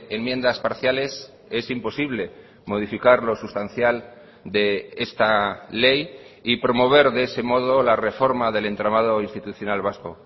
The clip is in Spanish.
enmiendas parciales es imposible modificar lo sustancial de esta ley y promover de ese modo la reforma del entramado institucional vasco